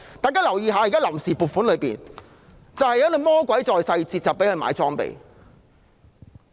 大家要留意，現時的臨時撥款有"魔鬼在細節"，供他們購置裝備。